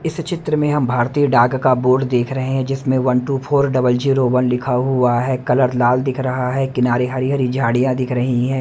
इस चित्र में हम भारतीय डाक का बोर्ड देख रहे हैं जिसमें one two four double zero one लिखा हुआ है कलर लाल दिख रहा है किनारे हरी हरी झाड़ियां दिख रही हैं।